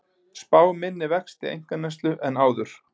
Spá minni vexti einkaneyslu en áður